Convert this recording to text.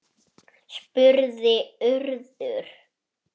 spurði Urður.